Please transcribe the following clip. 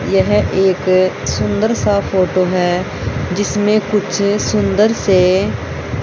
यह एक सुन्दर सा फोटो है जिसमें कुछ सुन्दर से--